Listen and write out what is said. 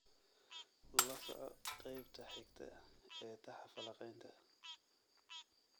lasoco qaybta xigta ee taxaha falanqaynta